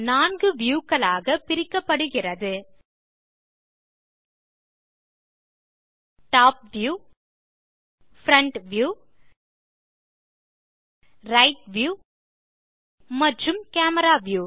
4 view களாக பிரிக்கப்படுகிறது top view front view right view மற்றும் கேமரா வியூ